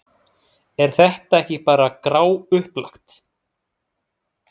Er þetta ekki bara gráupplagt?